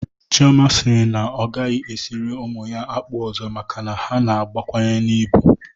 Chioma siri na ọ a gaghị esiri ụmụ ya akpụ ọzọ maka na ha na-agbakwunye n'ibu